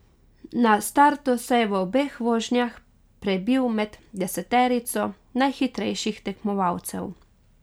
Na startu se je v obeh vožnjah prebil med deseterico najhitrejših tekmovalcev.